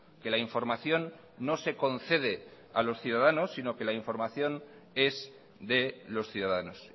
que la información no se concede a los ciudadanos sino que la información es de los ciudadanos